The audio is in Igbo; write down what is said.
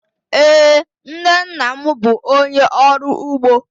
Ee, nna nna m bụ onye ọrụ ugbo.